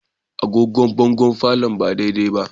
Agogon bangon palour ba daidai ba